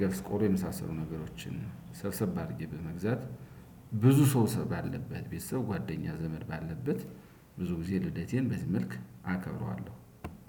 ገብስ ቆሎ የመሳሰሉ ነገሮችን ሰብሰብ አድርጌ በመግዛት ብዙ ሰው ባለበት ቤተሰብ ጓደኛ ዘመድ ባለበት ብዙ ጊዜ ልደቴን በዚህ መልክ አከብረዋለሁ።